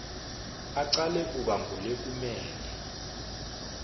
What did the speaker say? acale kuba ngulekumele